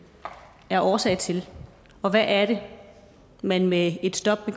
er årsag til og hvad er det man med et stop